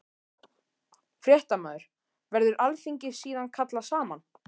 Fréttamaður: Verður alþingi síðan kallað saman?